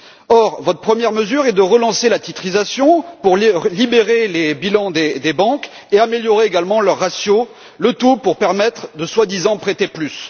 Or, votre première mesure est de relancer la titrisation pour libérer les bilans des banques et améliorer également leur ratio, le tout pour permettre soi disant de prêter plus.